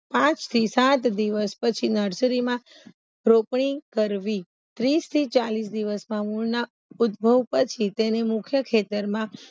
પાંચ થી સાત દિવસ પછી નર્સરીમાં રોપણી કરવી ત્રીસથી ચાલીસ દિવસમાં ના ઉદભવ પછી તેની મુખ્ય ખેતરમાં